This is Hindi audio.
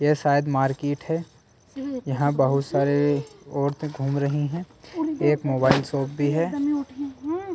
यह शायद मार्केट है यहां बहुत सारे औरतें घूम रही हैं एक मोबाइल शॉप भी है।